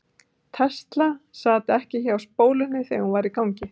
tesla sat ekki hjá spólunni þegar hún var í gangi